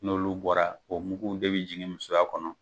N'olu bɔra, o muguw de bɛ jigin musoya kɔnɔ.